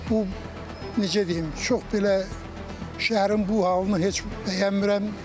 Bu, necə deyim, çox belə şəhərin bu halını heç bəyənmirəm.